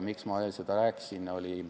Miks ma seda rääkisin?